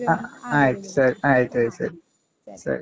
ಆಯ್ತು ಸರಿ ಆಯ್ತಾಯ್ತು ಸರಿ ಸರಿ.